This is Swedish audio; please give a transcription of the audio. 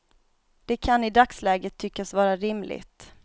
Det kan i dagsläget tyckas vara rimligt.